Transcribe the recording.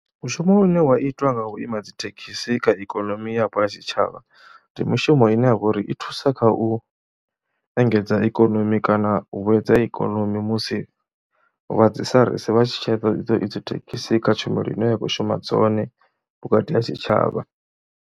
Mushumo une wa itwa nga u ima dzi thekhisi kha ikonomi yapo ya tshitshavha ndi mushumo ine ya vha uri i thusa kha u engedza ikonomi kana u vhuedza ikonomi musi vha dzi SARS vha tshi tsheka thekhisi kha tshumelo ine ya khou shuma dzone vhukati ha tshitshavha.